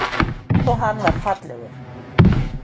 Einsog hann var fallegur.